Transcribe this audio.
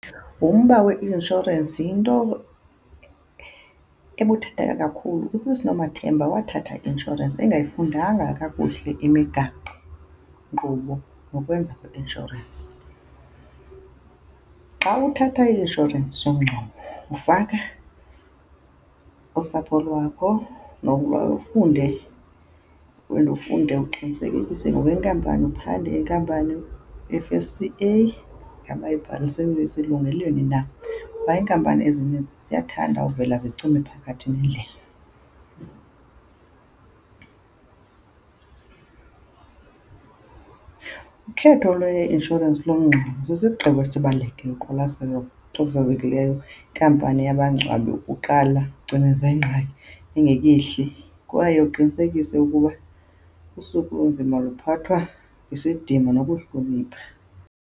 Umba we-inshorensi yinto ebuthathaka kakhulu. USisi Nomathemba wathatha i-inshorensi engayifundanga kakuhle imigaqo-nkqubo nokwenza kwe-inshorensi. Xa uthatha i-inshorensi yomngcwabo ufaka usapho lwakho, nokuba ufunde, wena ufunde uqinisekisise ngokwenkampani, uphande inkampani F_S_C_A uba ngaba ibhaliselwe elungelweni na. Kuba iinkampani ezininzi ziyathanda uvela zicime phakathi nendlela. Ukhetho lwe-inshorensi lomngcwabo lusisigqibo esibalulekile noqwalaselo olubalulekileyo. Inkampani yabangcwabi uqala ucineze ingxaki ingekehli, kwaye uqinisekise ukuba usuku olunzima luphathwa ngesidima nokuhlonipha.